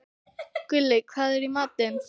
Gulli, hvað er í matinn?